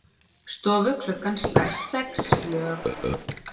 Stofuklukkan slær sex slög.